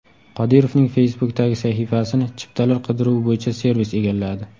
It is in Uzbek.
Qodirovning Facebook’dagi sahifasini chiptalar qidiruvi bo‘yicha servis egalladi.